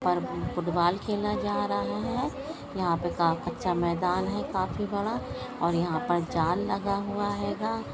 पर फूटबाल खेला जा रहा हैं यहा पे का-कच्चा मैदान हैं काफी बड़ा और यहा पर जाल लगा हुआ हैंगा।